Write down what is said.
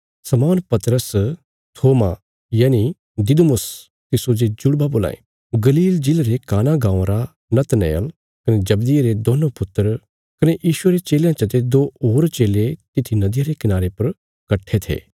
शमौन पतरस थोमा यनि दिदुमुस तिस्सो जे जुड़वा बोलां ये गलील जिले रे काना गाँवां रा नतनएल कने जब्दिये रे दोन्नों पुत्र कने यीशुये रे चेलयां चते दो होर चेले तित्थी नदिया रे कनारे पर कट्ठे थे